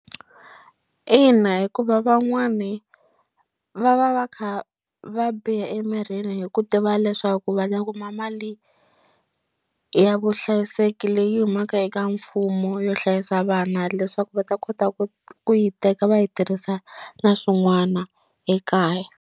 Ina, hikuva van'wani va va va kha va biha emirini hi ku tiva leswaku va ta kuma mali ya vuhlayiseki leyi humaka eka mfumo yo hlayisa vana leswaku va ta kota ku ku yi teka va yi tirhisa na swin'wana ekaya.